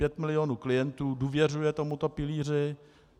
Pět milionů klientů důvěřuje tomuto pilíři.